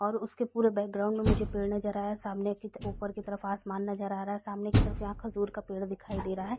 और उसके पूरे बैकग्राउंड में मुझे पेड़ नजर आ रहा है | सामने की ऊपर की तरफ आसमान नजर आ रहा है सामने की तरफ यहाँ खजूर का पेड़ दिखाई दे रहा है |